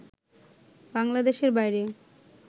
বাংলাদেশের বাইরে